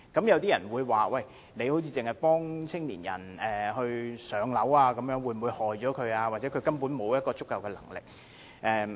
有人會說政府只協助年青人"上樓"，會否反而害苦了他們，因為他們或許根本沒有足夠的能力。